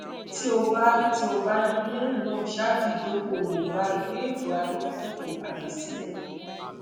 ti o ba ti o ba ni lẹhinna ṣaaju idokoowo ra iwe eto adojutofo aye sile